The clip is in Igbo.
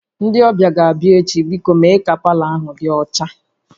Ndị ọbịa ga-abịa echi, biko mee ka palọ ahụ dị ọcha